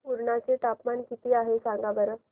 पुर्णा चे तापमान किती आहे सांगा बरं